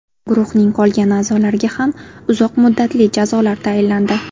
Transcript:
Guruhning qolgan a’zolariga ham uzoq muddatli jazolar tayinlandi.